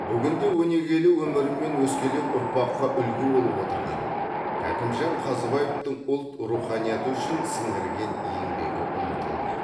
бүгінде өнегелі өмірімен өскелең ұрпаққа үлгі болып отырған кәкімжан қазыбаевтың ұлт руханияты үшін сіңірген еңбегі ұмытылмайды